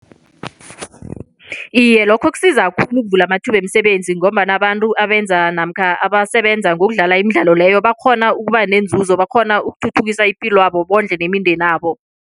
Iye, lokho kusiza khulu ukuvula amathuba wemisebenzi ngombana abantu abenza namkha abasebenza ngokudlala imidlalo leyo bakghona ukuba nenzuzo, bakghona ukuthuthukisa ipilwabo bondle nemindenabo.